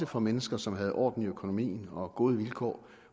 for mennesker som havde orden i økonomien og gode vilkår